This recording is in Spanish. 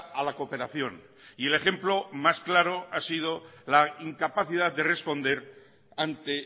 a la cooperación y el ejemplo más claro ha sido la incapacidad de responder ante